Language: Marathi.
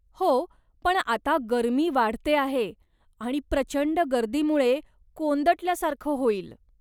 हो, पण आता गरमी वाढते आहे आणि प्रचंड गर्दीमुळे कोंदटल्यासारख होईल.